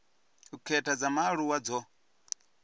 u khetha dza vhaaluwa dzo